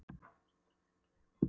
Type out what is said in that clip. Hver um sig eins og á eyðiskeri.